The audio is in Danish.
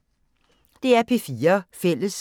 DR P4 Fælles